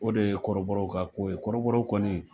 O de ye kɔrɔbɔrɔw ka ko ye , kɔrɔbɔrɔw kɔni